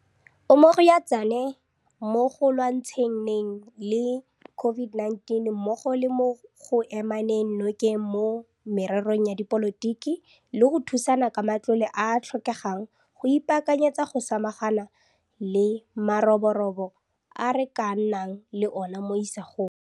O mmogo ya tsona mo go lwantsha neng le COVID-19 mmogo le mo go emaneng nokeng mo mererong ya dipolotiki le go thusana ka matlole a a tlhokegang go ipaakanyetsa go samagana le maroborobo a re ka nnang le ona mo isagong.